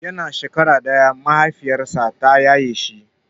Yana shekara ɗaya mahaifiyarsa ta yaye shi.